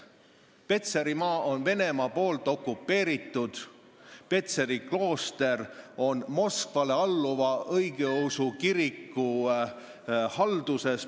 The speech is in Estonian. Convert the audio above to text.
Petserimaa on Venemaa poolt okupeeritud, Petseri klooster on Moskvale alluva õigeusu kiriku halduses ...